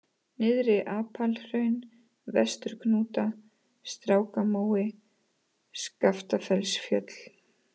Nyrðra-Apalhraun, Vesturhnúta, Strákamói, Skaftafellsfjöll